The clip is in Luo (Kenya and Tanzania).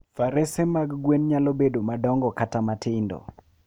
Farese mag gwen nyalo bedo madongo kata matindo.